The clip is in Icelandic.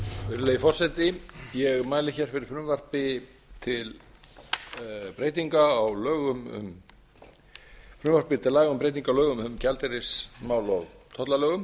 virðulegi forseti ég mæli hér fyrir frumvarpi til laga um breytingu á lögum um gjaldeyrismál og tollalögum